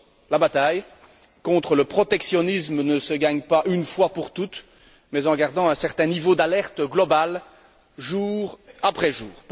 La bataille contre le protectionnisme ne se gagne pas une fois pour toutes mais en gardant un certain niveau d'alerte global, jour après jour.